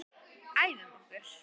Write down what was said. Æfum okkur.